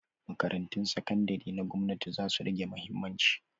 Makarantun sakandari na gwamnati zasu rage mahimmanci.